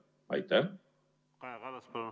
Kaja Kallas, palun!